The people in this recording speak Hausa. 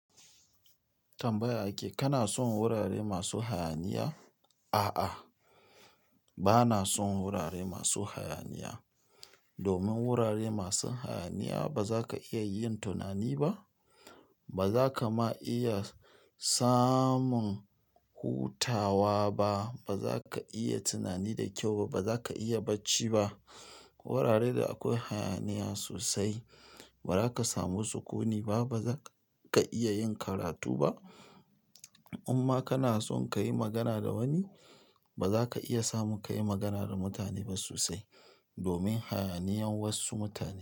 Tambaya ake, kana son wurare masu hayaniya? A'a, bana son wurare masu hayaniya. Domin wurare masu hayaniya bazaka iya yin tunani ba, bazaka ma iya samun hutawa ba. Ba za ka iya tunani da kyau ba. Ba za ka iya bacci ba. Wurare da akwai hayaniya sosai badaka samu sukuni ba ba za ka iya yin karatu ba. In ma kana son ka yi magana da wani, ba za ka iya samun ka yi magana da mutane ba sosai. Domin hayaniyan wasu mutane.